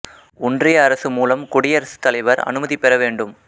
ஒன்றிய அரசு மூலம் குடியரசுத் தலைவர் அனுமதி பெற வேண்டும்